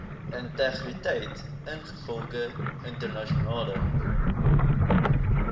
integriteit ingevolge internasionale